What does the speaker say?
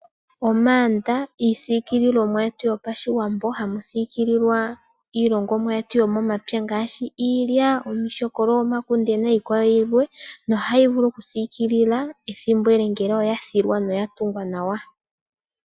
Iigandhi ,iisiikililomwa yetu yopashiwambo hamu siikililwa iilongomwa yetubyomomapya ngaashi iilya ,iilyaalyaka, nomakunde .nohayi vulu oku siikililwa ethimbo ele ngele oyatungwa noya thilwa nawa.